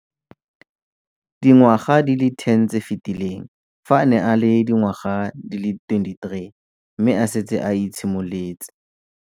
Dingwaga di le 10 tse di fetileng, fa a ne a le dingwaga di le 23 mme a setse a itshimoletse.